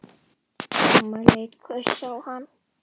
Amma leit hvöss á hann.